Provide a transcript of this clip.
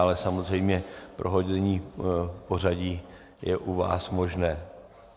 Ale samozřejmě prohození pořadí je u vás možné.